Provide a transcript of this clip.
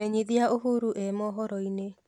menyĩthĩa uhuru e mohoro ini